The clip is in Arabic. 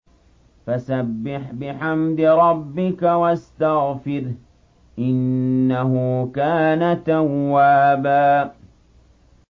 فَسَبِّحْ بِحَمْدِ رَبِّكَ وَاسْتَغْفِرْهُ ۚ إِنَّهُ كَانَ تَوَّابًا